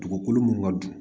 Dugukolo mun ka jugu